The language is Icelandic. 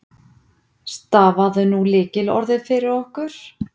Stafaðu nú lykilorðið fyrir okkur.